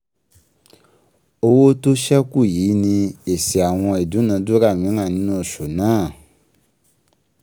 Owó tó sẹ́kù yìí ni èsì àwọn ìdúnàdúrà míràn nínú oṣù náà